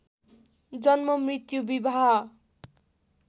जन्म मृत्यु विवाह